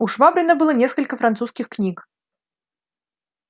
у швабрина было несколько французских книг